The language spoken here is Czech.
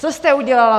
Co jste udělala?